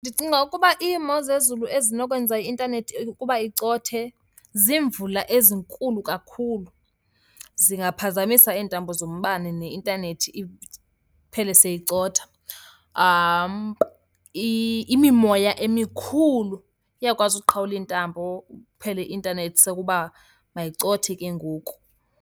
Ndicinga ukuba iimozezulu ezinokwenza i-intanethi ukuba icothe ziimvula ezinkulu kakhulu, zingaphazamisa iintambo zombane neintanethi iphele seyicotha. Imimoya emikhulu iyakwazi uqhawula iintambo, iphele i-intanethi sekuba mayicothe ke ngoku.